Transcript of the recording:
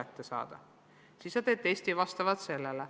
Testid tehakse vastavalt sellele.